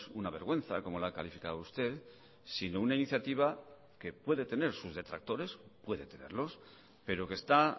una vergüenza como la ha calificado usted sino una iniciativa que puede tener sus detractores puede tenerlos pero que está